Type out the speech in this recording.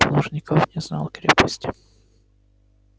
плужников не знал крепости